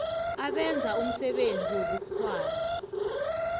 abenza umsebenzi wobukghwari